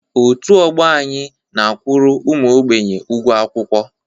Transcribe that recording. Otu ọgbọ anyị na a kwuru ụmụ ógbènye ụgwọ akwụkwọ